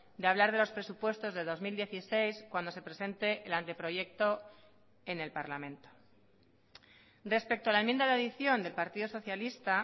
de hablar de los presupuestos de dos mil dieciséis cuando se presente el anteproyecto en el parlamento respecto a la enmienda de adición del partido socialista